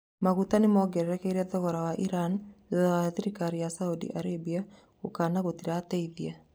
Maguta nĩmongererekete thogora Iran thutha wa tharĩka ya saudi Arabia, gũkana gũkana gũtirateithia